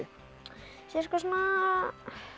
cirka svona